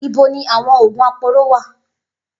Ibo ni àwọn oògùn aporó wà?